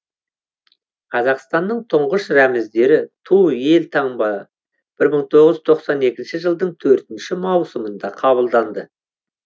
қазақстанның тұңғыш рәміздері ту мен елтаңба бір мың тоғыз жүз тоқсан екінші жылдың төртінші маусымында қабылданды